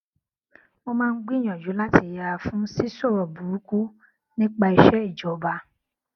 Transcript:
mo máa ń gbìyànjú láti yẹra fún sísòrò burúkú nípa iṣé ìjọba